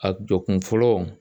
A jɔ kun fɔlɔ